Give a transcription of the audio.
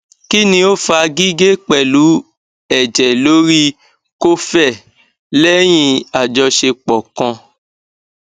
kini o fa gige pelu eje lori kofe lẹ́yìn ajosepo kan